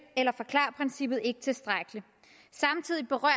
eller forklar princippet ikke tilstrækkeligt samtidig berører